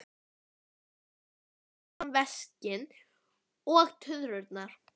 Og ég stend fyrir framan veskin og tuðrurnar.